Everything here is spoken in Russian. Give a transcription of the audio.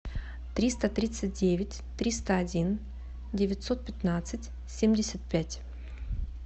триста тридцать девять триста один девятьсот пятнадцать семьдесят пять